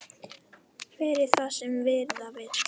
Verði það sem verða vill!